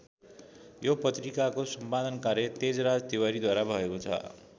यो पत्रिकाको सम्पादन कार्य तेजराज तिवारीद्वारा भएको छ।